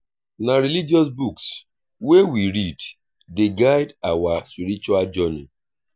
na religious books wey we read dey guide our spiritual journey.